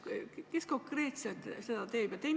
Kes konkreetselt seda teeb?